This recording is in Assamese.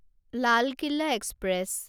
লাল কিলা এক্সপ্ৰেছ